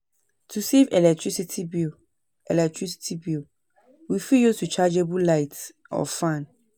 To save electricity bill, electricity bill, we fit use rechargeable light or fan